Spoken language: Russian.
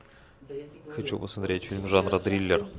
хочу посмотреть фильм жанра триллер